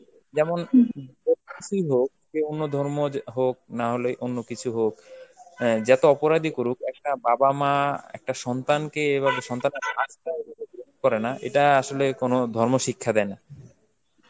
যেমন কোনো কিছুই হোক, যে অন্য ধর্ম যে~ হোক না হলে অন্য কিছু হোক, অ্যাঁ যতই অপরাধীই করুক, একটা বাবা মা একটা সন্তানকে এভাবে সন্তান এর লাশ করেনা, এটা আসলে কোনো ধর্ম শিক্ষা দেয় না.